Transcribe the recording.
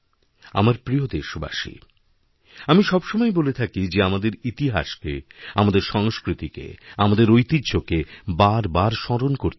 আমার প্রিয় দেশবাসী আমি সবসময়েই বলে থাকি যে আমাদেরইতিহাসকে আমাদের সংস্কৃতিকে আমাদের ঐতিহ্যকে বারবার স্মরণ করতে হবে